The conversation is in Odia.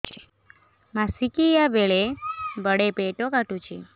ମାସିକିଆ ବେଳେ ବଡେ ପେଟ କାଟୁଚି